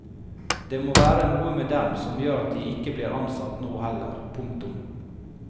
Det må være noe med dem som gjør at de ikke blir ansatt nå heller. punktum